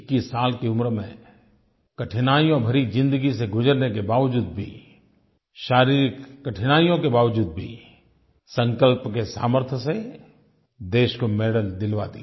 21 साल की उम्र में कठिनाइयों भरी ज़िंदगी से गुज़रने के बावजूद भी शारीरिक कठिनाइयों के बावजूद भी संकल्प के सामर्थ्य से देश को मेडल दिलवा दिया